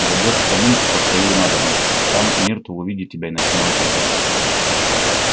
войдёшь в кабинку по своей надобности а там миртл увидит тебя и начинает рыдать